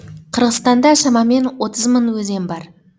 қырғызстанда шамамен отыз мың өзен бар